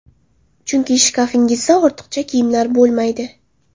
Chunki shkafingizda ortiqcha kiyimlar bo‘lmaydi.